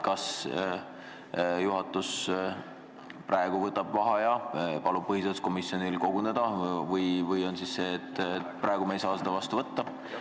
Kas juhatus võtab vaheaja ja palub põhiseaduskomisjonil koguneda või ei saa me praegu seda otsust vastu võtta?